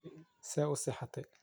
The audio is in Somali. See uu see xatey?